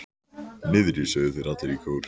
Niðri, sögðu þeir allir í kór.